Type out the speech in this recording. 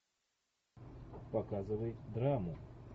показывай драму